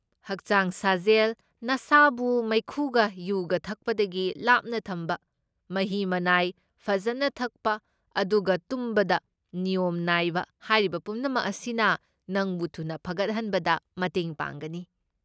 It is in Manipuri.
ꯍꯛꯆꯥꯡ ꯁꯥꯖꯦꯜ, ꯅꯁꯥꯕꯨ ꯃꯩꯈꯨꯒ ꯌꯨꯒ ꯊꯛꯄꯗꯒꯤ ꯂꯥꯞꯅ ꯊꯝꯕ, ꯃꯍꯤ ꯃꯅꯥꯏ ꯐꯖꯟꯅ ꯊꯛꯄ, ꯑꯗꯨꯒ ꯇꯨꯝꯕꯗ ꯅꯤꯌꯣꯝ ꯅꯥꯏꯕ, ꯍꯥꯏꯔꯤꯕ ꯄꯨꯝꯅꯃꯛ ꯑꯁꯤꯅ ꯅꯪꯕꯨ ꯊꯨꯅ ꯐꯒꯠꯍꯟꯕꯗ ꯃꯇꯦꯡ ꯄꯥꯡꯒꯅꯤ꯫